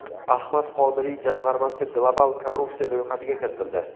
Ahmad Qodirov jamg‘armasi global korrupsiya ro‘yxatiga kiritildi.